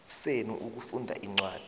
senu ukufunda incwadi